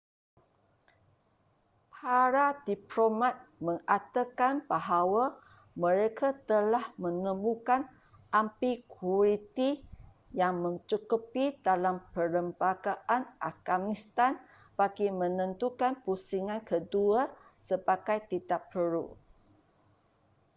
para diplomat mengatakan bahawa mereka telah menemukan ambiguiti yang mencukupi dalam perlembagaan afghanistan bagi menentukan pusingan kedua sebagai tidak perlu